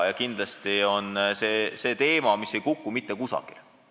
Kindlasti on see teema, mis ei kuku mitte kusagile.